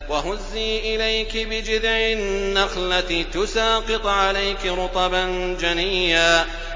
وَهُزِّي إِلَيْكِ بِجِذْعِ النَّخْلَةِ تُسَاقِطْ عَلَيْكِ رُطَبًا جَنِيًّا